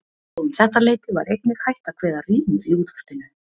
Og um þetta leyti var einnig hætt að kveða rímur í útvarpinu.